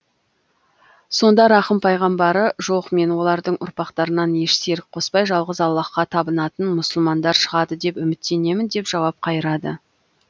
сонда рахым пайғамбары жоқ мен олардың ұрпақтарынан еш серік қоспай жалғыз аллаһқа табынатын мұсылмандар шығады деп үміттенемін деп жауап қайырады